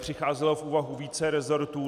Přicházelo v úvahu více rezortů.